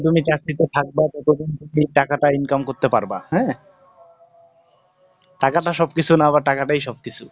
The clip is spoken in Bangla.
তুমি চাকরিতে থাকবা ততদিন তুমি টাকাটা income করতে পারবা। অ্যা, টাকাটা সব কিছু না, আবার টাকাটাই সব কিছু।